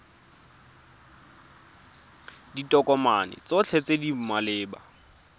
ditokomane tsotlhe tse di maleba